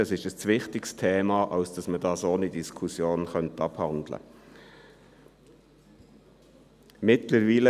Das Thema ist zu wichtig, als dass man dieses ohne Diskussion abhandeln könnte.